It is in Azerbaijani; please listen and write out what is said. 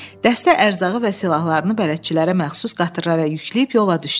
Dəstə ərzağı və silahlarını bələdçilərə məxsus qatırlara yükləyib yola düşdü.